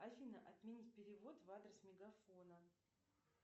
афина отменить перевод в адрес мегафона